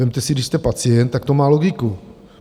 Vezměte si, když jste pacient, tak to má logiku.